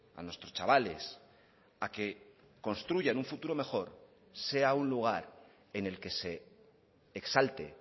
a nuestros chavales a que construyan un futuro mejor sea un lugar en el que se exalte